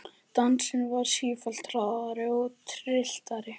Dansinn varð sífellt hraðari og trylltari.